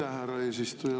Aitäh, härra eesistuja!